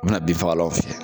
U bi na bin fagalaw fiyɛ.